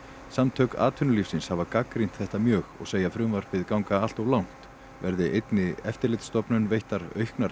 samtök atvinnulífsins hafa gagnrýnt þetta mjög og segja frumvarpið ganga allt of langt verði einni eftirlitsstofnun veittar auknar